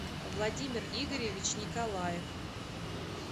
владимир игоревич николаев